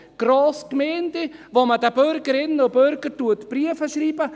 Grossgemeinden, wo man den Bürgerinnen und Bürgern Briefe schreibt?